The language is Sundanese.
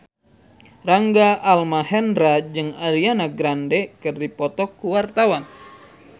Rangga Almahendra jeung Ariana Grande keur dipoto ku wartawan